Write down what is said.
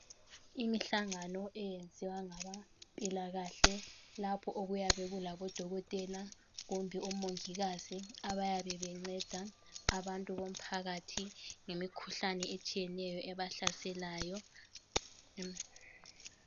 Imihlangano eyenziwa ngabempilakahle lapho okuyabe kulabo dokotela kumbe omongikazi abayabe benceda abantu bomphakathi ngemikhuhlane etshiyeneyo ebahlaselayo.